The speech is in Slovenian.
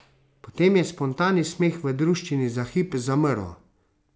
Potem je spontani smeh v druščini za hip zamrl.